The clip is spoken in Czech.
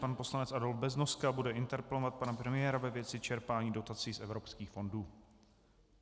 Pan poslanec Adolf Beznoska bude interpelovat pana premiéra ve věci čerpání dotací z evropských fondů.